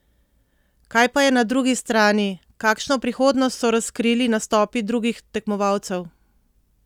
Kaj pa je na drugi strani, kakšno prihodnost so razkrili nastopi drugi tekmovalcev?